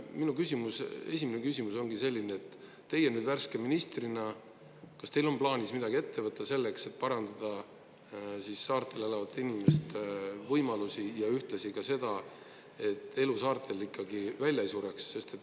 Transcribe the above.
Minu küsimus, esimene küsimus ongi selline, et teie nüüd värske ministrina, kas teil on plaanis midagi ette võtta selleks, et parandada saartel elavate inimeste võimalusi ja ühtlasi ka seda, et elu saartel ikkagi välja ei sureks?